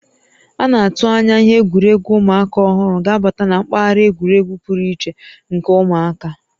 A na-atụ anya ihe egwuregwu ụmụaka ọhụrụ ga-abata na mpaghara egwuregwu pụrụ iche nke ụmụaka